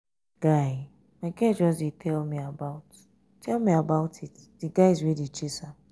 guy my girl just dey tell me about tell me about it the guys wey dey chase am.